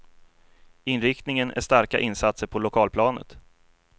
Inriktningen är starka insatser på lokalplanet.